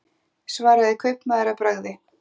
svaraði kaupmaður að bragði.